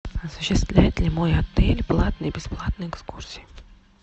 осуществляет ли мой отель платные и бесплатные экскурсии